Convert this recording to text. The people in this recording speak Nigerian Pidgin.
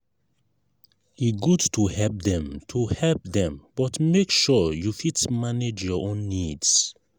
e good to help dem to help dem but make sure you fit manage your own needs.